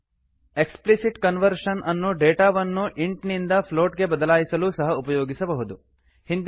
explicit conversion explicit conversion ಅನ್ನು ಡೇಟಾವನ್ನು int int ನಿಂದ ಫ್ಲೋಟ್ ಪ್ಲೋಟ್ ಗೆ ಬದಲಾಯಿಸಲೂ ಸಹ ಉಪಯೋಗಿಸಬಹುದು